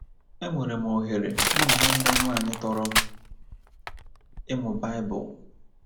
Enwere m oghere mụ na nwanne m nwanyị tọrọ m ịmụ baịbụl.